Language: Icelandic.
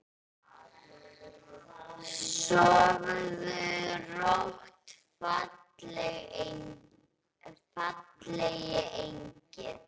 Sofðu rótt fallegi engill.